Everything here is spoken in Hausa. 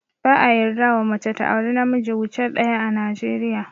Ba a yarda wa mace ta auri na miji wuce daya ã Najeriya.